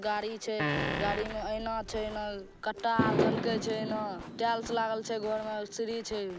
गाड़ी छै गाड़ी में एना झल के छै टाइल्स लगल छै घर मा सीढ़ी छै।